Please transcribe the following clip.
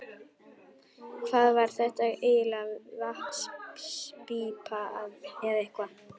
Hvað var þetta eiginlega, vatnspípa eða eitthvað?